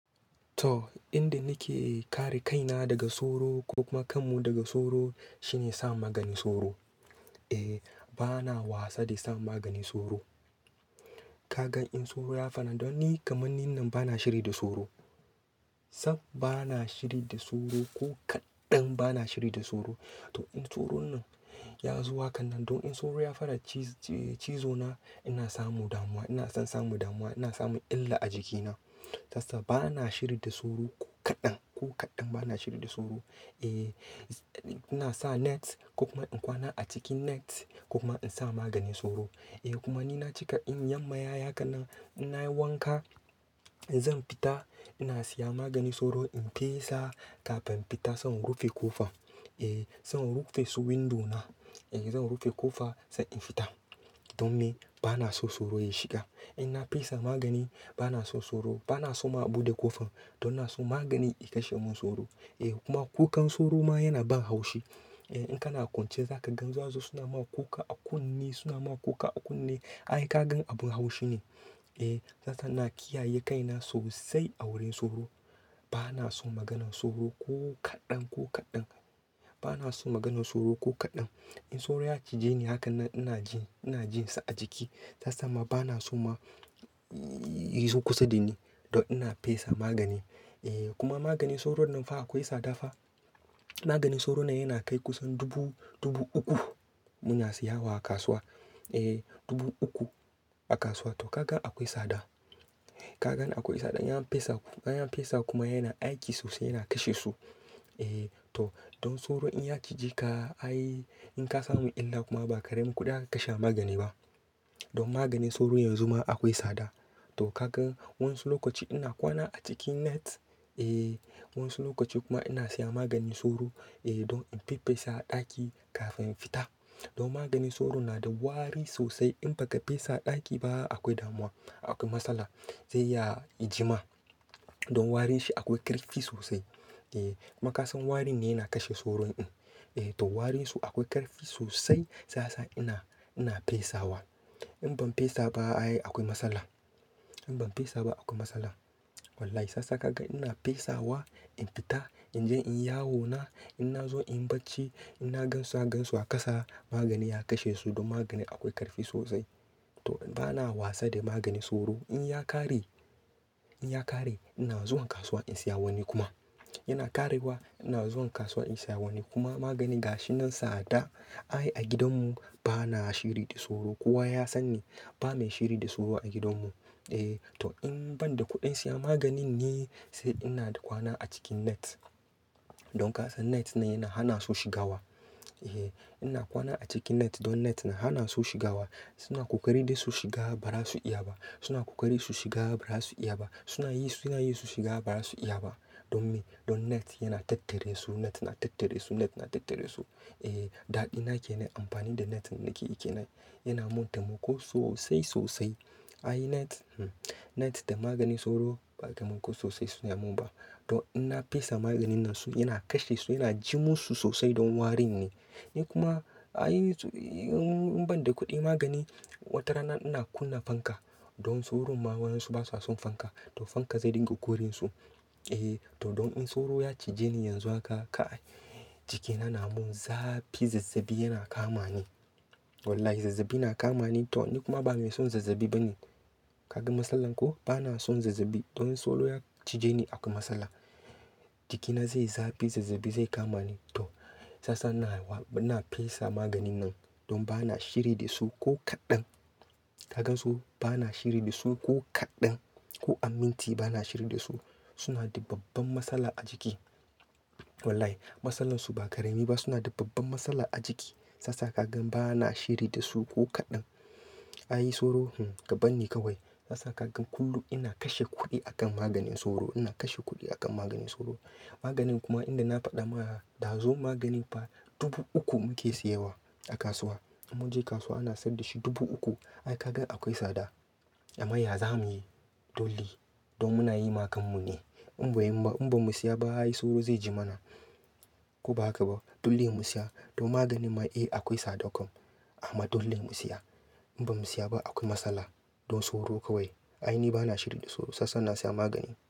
To, inda nake kare kaina daga soro ko kuma kanmu daga soro shine sa maganin soro. Eh, bana wasa da sa maganin soro. Kagan in soro ya faɗa don ni kamanin nan bana shiri da soro. Sam bana shiri da soro ko kaɗan bana shiri da soro. To, in soron nan ya zo haka nan don in soro ya fara ci-cizo na ina samu damuwa, ina son samu damuwa, ina samu illa a jikina. Sasa bana shiri da soro ko kaɗan, ko kaɗan bana shiri da soro. Eh, ina sa net ko kuma in kwana a cikin net ko kuma in sa maganin soro. Eh kuma ni na cika in yam mayaya haka na ina yi wanka, zan fita ina siya maganin soro in fesa kafin fita zan rufe ƙofa. Eh, zan rufe su windo na. Eh, zan rufe ƙofa sai in fita. Don me? Bana so soro ya shiga. In na fesa magani bana so soro, bana so ma a buɗe ƙofa don na so magani ya kashe min soro. Eh kuma kukan soro ma yana ban haushi. Eh, in kana kwance zaka ga zasuzo suna ma ku ka a kunne, suna ma ku ka a kunne. Ai kagan abin haushi ne. Eh, sasa na kiyaye kaina sosai a wurin soro. Bana so maganan soro ko kaɗan, ko kaɗan. Bana so maganan soro ko kaɗan. In soro ya cije ni haka nan ina ji, ina jin sa a jiki. Sasa ma bana so ma yizo kusa da ni don ina fesa magani. Eh kuma maganin soro nan fa akwai sada fa. Maganin soro na yana kai kusan dubu, dubu uku muna siya wa a kasuwa. Eh, dubu uku a kasuwa to kagan akwai sada. Kagan akwai sada. An fesa, an fesa kuma yana aiki sosai yana kashe su. Eh to, don soro in ya cije ka, ai in ka samu illa kuma ba karemin kuɗi aka kashe a magani ba. Don maganin soro yanzu ma akwai sada. To kagan wani lokaci ina kwana a cikin net. Eh, wani lokaci kuma ina siya maganin soro. Eh, don in fi fesa a ɗaki kafin fita. Don maganin soro na da wari sosai in ba ka fesa a ɗaki ba akwai damuwa, akwai matsala. Zai ya jima. Don warin shi akwai ƙarfi sosai. Eh kuma kasan warin ne yana kashe soro din. Eh to, warin su akwai ƙarfi sosai sasa ina, ina fesawa. In ban fesa ba ai akwai matsala. In ban fesa ba akwai matsala. Wallahi sasa kagan ina fesawa, in fita, in je in yawo na, ina zo in bacci, ina gansuwa gansuwa kasa magani ya kashe su don magani akwai ƙarfi sosai. To bana wasa da maganin soro. In ya ƙare, in ya ƙare ina zuwan kasuwa in siya wani kuma. Yana ƙarewa ina zuwan kasuwa in siya wani kuma magani gashi nan sada. Ai a gidan mu bana shiri da soro. Kowa ya san ni ba mai shiri da soro a gidan mu. Eh to, in ban da kuɗin siya maganin ne sai ina da kwana a cikin net. Don kasa net ne yana hana su shiga wa. Eh, ina kwana a cikin net don net na hana su shiga wa. Suna ƙoƙari da su shiga ba ra su iya ba. Suna ƙoƙari su shiga ba ra su iya ba. Suna yi, suna yi su shiga ba ra su iya ba. Don me? Don net yana tattare su, net na tattare su, net na tattare su. Eh, daɗi na ke nai amfani da net nake yi kenan. Yana mun taimako sosai sosai. Ai net, net da maganin soro ba taimako sosai suna mun ba. Don ina fesa maganin nan su yana kashe su, yana ji mu su sosai don warin ne. Ni kuma ai in ban da kuɗi magani, watarana ina kunna fanka don soro ma wayensu basa son fanka. To fanka zai dinga ƙorin su. Eh to, don in soro ya cije ni yanzu haka ka jikina na mun zafi, zazzabi yana kama ni. Wallahi zazzabi na kama ni to ni kuma ba mai son zazzabi ba ne. Kaga matsalar ko? Bana son zazzabi. Don soro ya cije ni akwai matsala. Jikina zai zafi, zazzabi zai kama ni to sasa na wa, na fesa maganin nan don bana shiri da su ko kaɗan. Kagan so bana shiri da su ko kaɗan, ko a minti bana shiri da su. Suna da babban matsala a jiki. Wallahi matsalar su ba karemi ba suna da babban matsala a jiki. Sasa kagan bana shiri da su ko kaɗan. Ai soro, ka banni kawai. Sasa kagan kullum ina kashe kuɗi a kan maganin soro, ina kashe kuɗi a kan maganin soro. Kuma inda na faɗa ma da zo magani fa dubu uku muke siya wa a kasuwa. Mun je kasuwa ana saida shi dubu uku. Ai kagan akwai sada. Amma ya za mu yi? Dolle, don muna yi ma kan mu ne. In ba yi ba, in ba mu siya ba ai soro zai ji mana. Ko ba haka ba. Dole mu siya. Don maganin ma, eh akwai sada ƙum. Amma dole mu siya. In ba mu siya ba akwai matsala. Don soro kawai. Ai ni bana shiri da soro sasa na siya magani.